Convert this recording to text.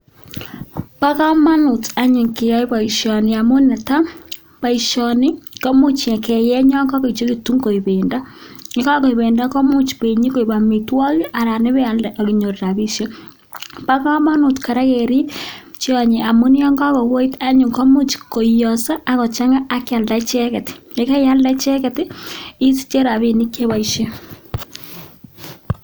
Bo komonut anyun keyai boisioni amun netai: boisioni komuch keyeny yon kagoyechegitun koik bendo, ye kagoik bendo komuch konyokoik amitwogik anan ibealde ak inyoru rabishek. Bo komonut kora kerib tyoni amun yon kagoet anyun komuch koioso ak kochang'a ak kyalda icheget. Ye karialda icheget isiche rabinik che iboisien.